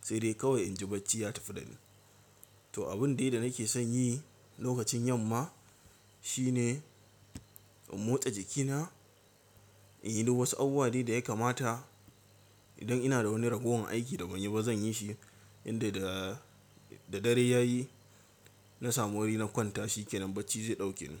sai dai kawai inji bacci ya tafi da ni. To abin dai da nake son yi lokacin yamma shine in motsa jikina, in yi duk wasu abubuwa dai da ya kamata. Idan ina da wani ragowar aiki da ban yi ba zan yi shi yanda da dare ya yi na samu wuri na kwanta shikenan bacci zai ɗauke ni.